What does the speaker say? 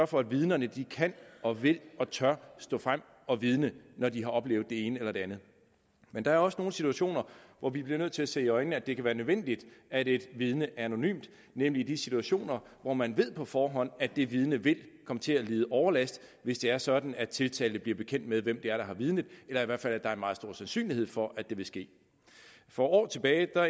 for at vidnerne kan og vil og tør stå frem og vidne når de har oplevet det ene eller det andet men der er også nogle situationer hvor vi bliver nødt til at se i øjnene at det kan være nødvendigt at et vidne er anonymt nemlig i de situationer hvor man på forhånd at det vidne vil komme til at lide overlast hvis det er sådan at tiltalte bliver bekendt med hvem det er der har vidnet eller i hvert fald at der er en meget stor sandsynlighed for at det vil ske for år tilbage